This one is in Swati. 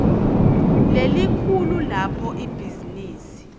lelikhulu lapho ibhizinisi